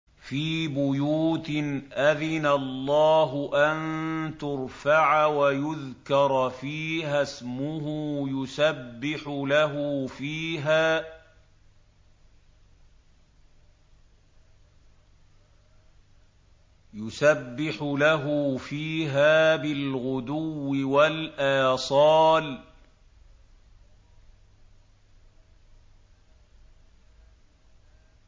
فِي بُيُوتٍ أَذِنَ اللَّهُ أَن تُرْفَعَ وَيُذْكَرَ فِيهَا اسْمُهُ يُسَبِّحُ لَهُ فِيهَا بِالْغُدُوِّ وَالْآصَالِ